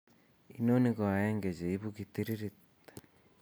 Inoni koaeng'e eng' cheibu kitiririt